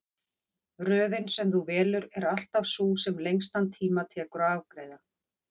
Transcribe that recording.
Röðin sem þú velur er alltaf sú sem lengstan tíma tekur að afgreiða.